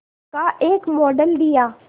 का एक मॉडल दिया